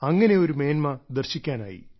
അങ്ങനെ ഒരു മേന്മ ദർശിക്കാനായി